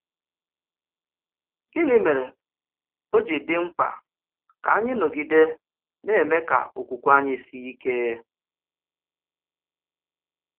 Gịnị mèrè ó ji dị mkpa kà anyị nọgide na-èmè ka okwukwè anyị sìe ike?